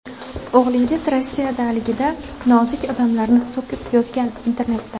O‘g‘lingiz Rossiyadaligida ‘nozik odamlar’ni so‘kib yozgan internetda.